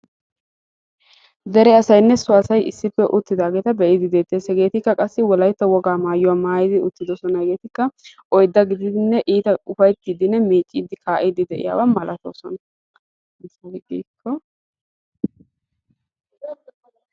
Dere asaynne so asay issippe uttidaageeta be'idi dettees. Hegetikka qassi wolaytta woga maayyuwa maattidi uttidoosona. Hegetikka oydda gidinne iita ufayttidinne miiccidi kaa'idi de'iyaaba malatoosona